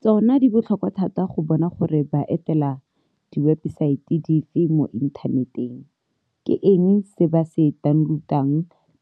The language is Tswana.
Tsona di botlhokwa thata go bona gore ba etela diwebesaete di fe mo inthaneteng, ke eng se ba se taoneloutang,